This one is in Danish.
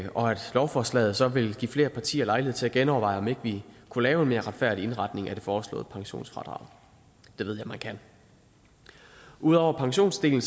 lovforslaget så vil give flere partier lejlighed til at genoverveje om ikke vi kunne lave en mere retfærdig indretning af det forslåede pensionsfradrag det ved jeg man kan ud over pensionsdelen